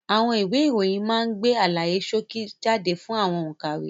Àwọn ìwé ìròyìn máa ń gbé àlàyé ṣókí jáde fún àwọn òkàwé.